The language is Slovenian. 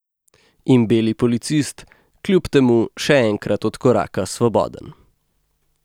In beli policist kljub temu še enkrat odkoraka svoboden.